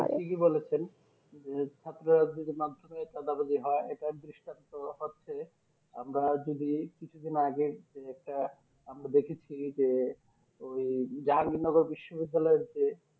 ঠিকই বলেছেন যে ছাত্র রাজনীতির মাধ্যমে দাদাবাজি হয় এটার দৃষ্টান্ত হচ্ছে আমরা যদি কিছুদিন আগে যে একটা আমরা দেখেছি যে ওই যার বিশ্ববিদ্যালয়ে যে